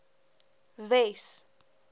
wes